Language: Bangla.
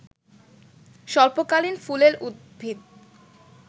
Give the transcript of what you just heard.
স্বল্পকালীন ফুলেল উদ্ভিদ